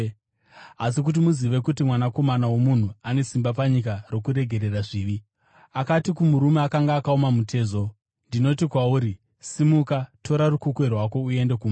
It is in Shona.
Asi kuti muzive kuti Mwanakomana woMunhu ane simba panyika rokuregerera zvivi.” Akati kumurume akanga akaoma mutezo, “Ndinoti kwauri, simuka, tora rukukwe rwako uende kumba.”